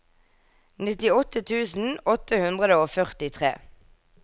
nittiåtte tusen åtte hundre og førtitre